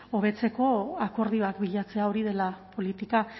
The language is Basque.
hobetzeko akordioak bilatzea hori dela politika